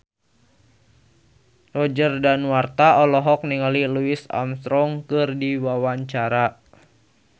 Roger Danuarta olohok ningali Louis Armstrong keur diwawancara